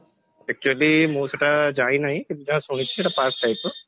actually ମୁ ସେଇଟା ଯାଇ ନାହି କିନ୍ତୁ ଯାହା ଶୁଣିଛି ସେଇଟା park type ର